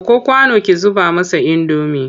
Ɗauko kwano ki zuba masa indomi!